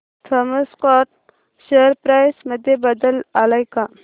Thomas Scott share price मध्ये बदल आलाय का